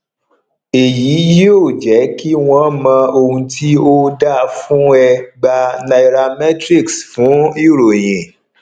eyi yí ọ je ki wọn mo ohun ti o da fún ẹ gba nairametrics fún ìròyìn